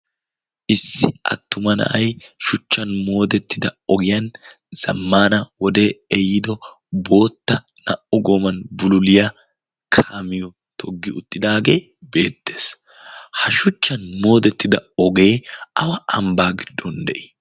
issi attuma na'ay shuchchan moodettida ogiyan zammaana wode eyiido bootta naa''u gooman bululiyaa kaamiyo toggi uxxidaagee beettees ha shuchchan moodettida ogee awa ambbaa giddon de'ii